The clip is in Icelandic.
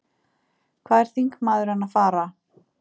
Hvað er þingmaðurinn að fara?